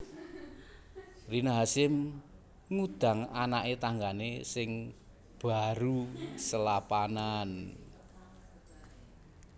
Rina Hasyim ngudang anake tanggane sing baru selapanan